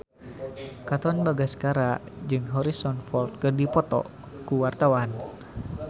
Katon Bagaskara jeung Harrison Ford keur dipoto ku wartawan